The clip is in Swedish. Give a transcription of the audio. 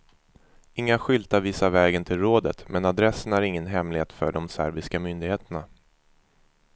Inga skyltar visar vägen till rådet, men adressen är ingen hemlighet för de serbiska myndigheterna.